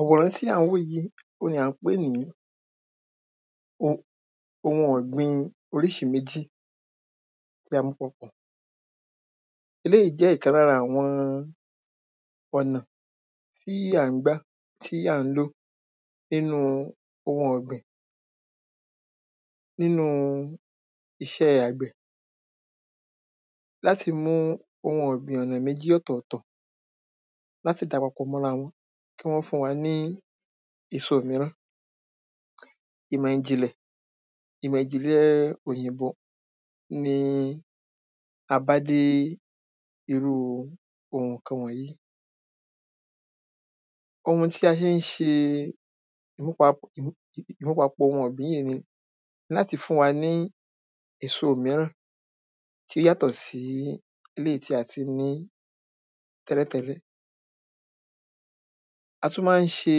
àwòrán tí a ń wò yìí ohun ni à ń pè ní ohun ọ̀gbìn oríṣi méjì tí a mú papọ̀ eléyìí jẹ́ ọ̀kan lára àwọn ọ̀nà tí à ń gba, tí à ń lò nínú ohun ọ̀gbìn nínu iṣẹ́ àgbẹ̀. láti mú ohun ọ̀gbìn ọ̀nà méjì ọ̀tọ̀tọ̀ láti dàá papọ̀ mọ́rawọn láti fún wa ní èso míràn. ìmọ̀ ìjìnlẹ̀, ìmọ̀ ìjìnlẹ̀ oyìnbó ni a bá dé irú ohun kan wọ̀nyí ohun tí a ṣe ń ṣe ní papọ̀, ní papọ̀ ohun ọ̀gbìn yìí ni láti fún wa ní èso míràn tí ó yátọ̀ sí eléyìí tí a ti ní tẹ́lẹ̀tẹ́lẹ̀ a tún máa ń ṣe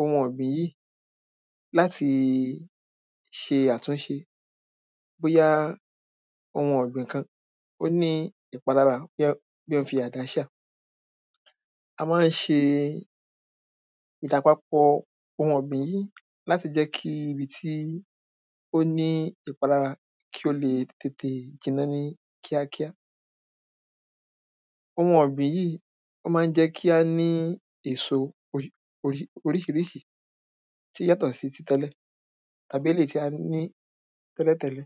ohun ọ̀gbìn yíì láti ṣe àtúnṣe bóyá ohun ọ̀gbìn kan, ó ní ìpalára, bóyá bóyá o fi àdá ṣáa a máa ń ṣe ìdàpapọ̀ ohun ọ̀gbìn yíì láti jẹ́ kí ibi tí ó ní ìpalára kí ó lé e tètè jiná ní kíákíá ohun ọ̀gbìn yíì, o máa ń jẹ́ kí á ní èso orí orí oríṣiríṣi tó yàtọ̀ sí ti tẹ́lẹ̀ tàbí eléyìí tí a ní tẹ́lẹ̀tẹ́lẹ̀